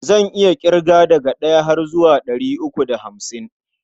Zan iya ƙirga daga ɗaya har zuwa ɗari uku da hamsin.